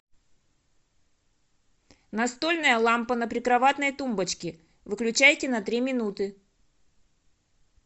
настольная лампа на прикроватной тумбочке выключайте на три минуты